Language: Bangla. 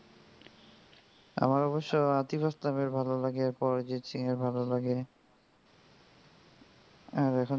আমার অবশ্য আতিফ আসলাম এর ভালো লাগে এরপর অরিজিৎ সিং এর ভালো লাগে আর এখন জুবিন,